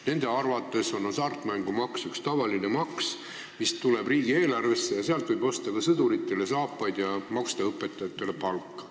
Nende arvates on hasartmängumaks üks tavaline maks, mis tuleb riigieelarvesse, selle eest võib osta ka sõduritele saapaid ja maksta õpetajatele palka.